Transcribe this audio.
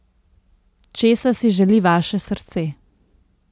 Česa si želi vaše srce?